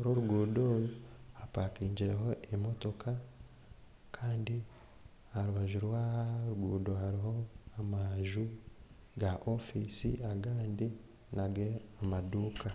rw'orugundo oru hapakingireho emotooka kandi aharubaju rw'oruguto hariho amanju ga ofiisi agandi nanga amaduuka.